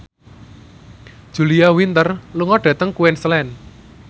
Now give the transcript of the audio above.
Julia Winter lunga dhateng Queensland